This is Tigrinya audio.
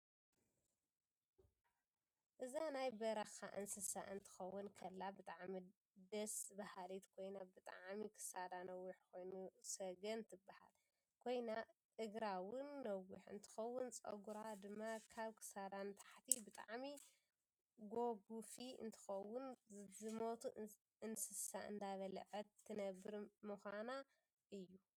እዛ ናይ በረካ አንስሳ ክትከውን ከላ ብጣዓሚ ዴስ ባሃሊት ኮይና ብጣ ክሳዳነውሕ ኮይኑ ሰጎን ትባሃል ኮይና እግራአውን ነውሕ እንትከውን ፀጉራ ድማ ካብ ክሳዳ ንታሕት ብጣዓሚ ጎጉፊ እንትከውን ዝመቱ አነስሳ እዳበለዐት ትነበር መካና እዪ።